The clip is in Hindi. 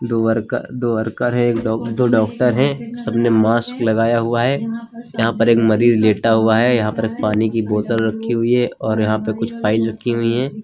दो वर्क दो वर्कर हैं एक डॉ दो डॉक्टर हैं सब ने मास्क लगाया हुआ है यहां पर एक मरीज लेटा हुआ है यहां पर एक पानी की बोतल रखी हुई है और यहां पर कुछ फाइल रखी हुई हैं।